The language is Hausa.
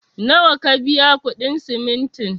Nawa ka biya kuɗin simintin?